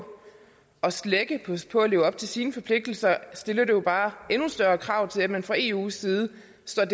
på at slække på at leve op til sine forpligtelser stiller det jo bare endnu større krav til at man fra eus side